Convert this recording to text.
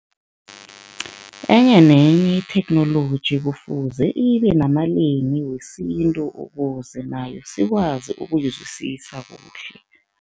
Enye nenye itheknoloji kufuze ibe namalimi wesintu ukuze nayo sikwazi ukuyizwisisa kuhle.